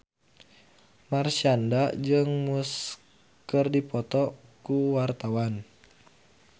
Marshanda jeung Muse keur dipoto ku wartawan